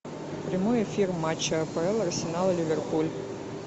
прямой эфир матча апл арсенал ливерпуль